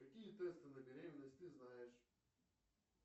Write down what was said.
какие тесты на беременность ты знаешь